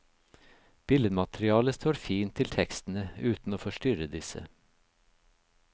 Billedmaterialet står fint til tekstene, uten å forstyrre disse.